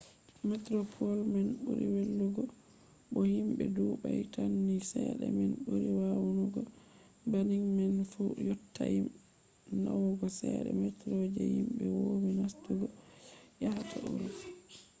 metroplos man ɓuri welugo bo himɓe ɗuuɗai tan ni cede man ɓuri nawugo banning man fu yottai nawugo cede metro je himɓe woowi nastugo je yahata urop